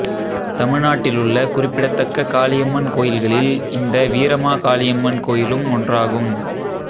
தமிழ்நாட்டிலுள்ள குறிப்பிடத்தக்க காளியம்மன் கோயில்களில் இந்த வீரமாகாளியம்மன் கோயிலும் ஒன்றாகும்